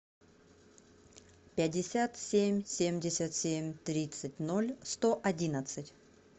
пятьдесят семь семьдесят семь тридцать ноль сто одиннадцать